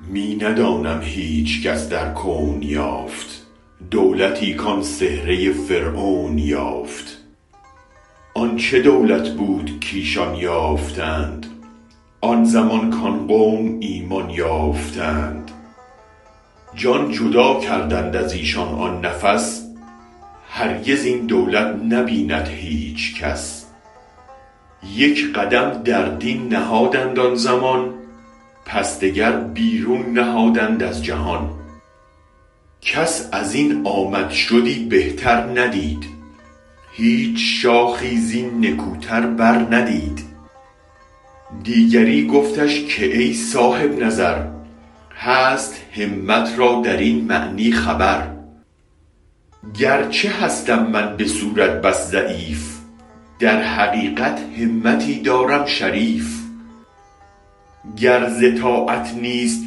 می ندانم هیچ کس در کون یافت دولتی کان سحره فرعون یافت آن چه دولت بود کایشان یافتند آن زمان کان قوم ایمان یافتند جان جداکردند ازیشان آن نفس هرگز این دولت نبیند هیچ کس یک قدم در دین نهادند آن زمان پس دگر بیرون نهادند از جهان کس ازین آمد شدی بهتر ندید هیچ شاخی زین نکوتر بر ندید دیگری گفتش که ای صاحب نظر هست همت را درین معنی خبر گرچه هستم من به صورت بس ضعیف در حقیقت همتی دارم شریف گر ز طاعت نیست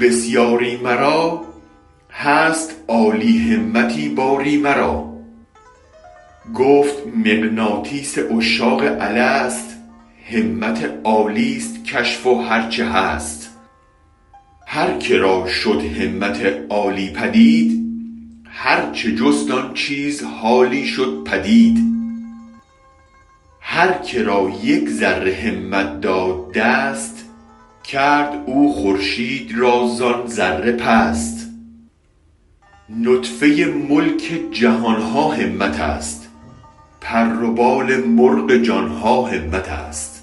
بسیاری مرا هست عالی همتی باری مرا گفت مغناطیس عشاق الست همت عالیست کشف و هرچ هست هر که را شد همت عالی پدید هر چه جست آن چیز حالی شد پدید هرک را یک ذره همت داد دست کرد او خورشید را زان ذره پست نطفه ملک جهانها همت است پر و بال مرغ جانها همت است